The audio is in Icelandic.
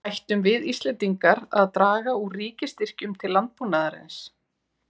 Ættum við Íslendingar að draga úr ríkisstyrkjum til landbúnaðarins?